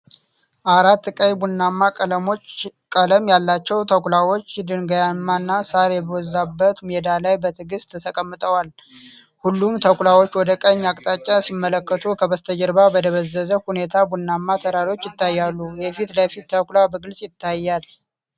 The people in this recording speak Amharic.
አራት ቀይ ቡናማ ቀለም ያላቸው ተኩላዎች ድንጋያማና ሳር የበዛበት ሜዳ ላይ በትዕግስት ተቀምጠዋል። ሁሉም ተኩላዎች ወደ ቀኝ አቅጣጫ ሲመለከቱ፣ ከበስተጀርባ በደበዘዘ ሁኔታ ቡናማ ተራሮች ይታያሉ። የፊት ለፊት ተኩላ በግልጽ ይታያል።